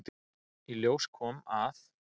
Í ljós kom, að